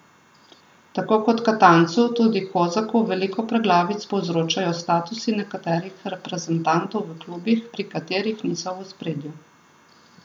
Tako kot Katancu tudi Kozaku veliko preglavic povzročajo statusi nekaterih reprezentantov v klubih, pri katerih niso v ospredju.